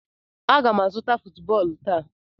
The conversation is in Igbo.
M ga-azụta football taa.